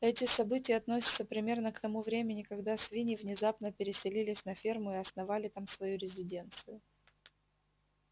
эти события относятся примерно к тому времени когда свиньи внезапно переселились на ферму и основали там свою резиденцию